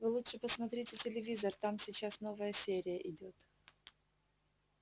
вы лучше посмотрите телевизор там сейчас новая серия идёт